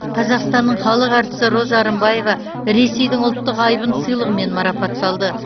қазақстанның халық әртісі роза рымбаева ресейдің ұлттық айбын сыйлығымен марапатталды